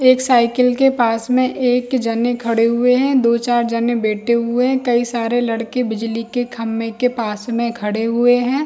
एक साइकिल के पास में एक जने खड़े हुए है दो चार जने बैठे हुए है कई सारे लड़के बिजली के खम्बे के पास में खड़े हुए है।